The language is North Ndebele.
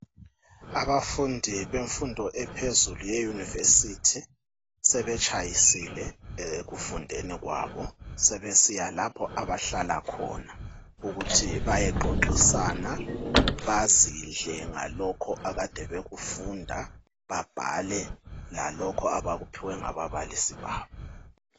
Abafundi bemfundo yaphezulu yeyunivesithi sebetshayisile ekufundeni kwabo sebesiya lapho abahlala khona ukuthi bayexoxisana bazidle ngalokho abakade bekufunda, babhale lalokho abakuphiwe ngababalisi babo.